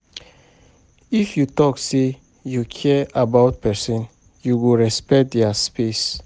If you talk say you care about pesinn, you go respect their space.